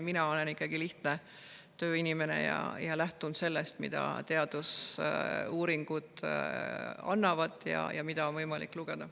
Mina olen ikkagi lihtne tööinimene ja lähtun sellest, mida teadusuuringud ja mida on võimalik lugeda.